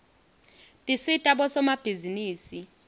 tisita bosomabhizinisi